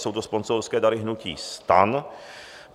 Jsou to sponzorské dary hnutí STAN.